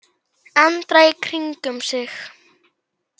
Andra í kringum sig.